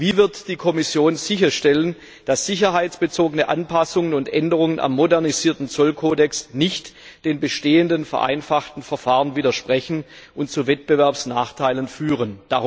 Wie wird die Kommission sicherstellen, dass sicherheitsbezogene Anpassungen und Änderungen am modernisierten Zollkodex nicht den bestehenden vereinfachten Verfahren widersprechen und zu Wettbewerbsnachteilen führen?